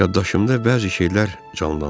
Yaddaşımda bəzi şeylər canlandı.